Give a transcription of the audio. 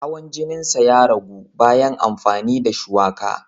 Hawan jininsa ya ragu bayan amfani da shuwaka.